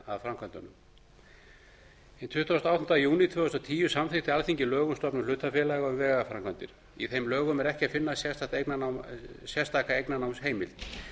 fyrir framkvæmdum hinn tuttugasta og áttunda júní tvö þúsund og tíu samþykkti alþingi lög um stofnun hlutafélaga um vegaframkvæmdir í þeim lögum er ekki að finna sérstaka eignarnámsheimild